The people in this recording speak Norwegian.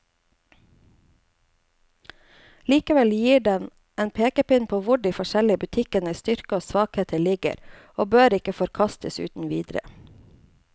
Likevel gir den en pekepinn på hvor de forskjellige butikkenes styrker og svakheter ligger, og bør ikke forkastes uten videre.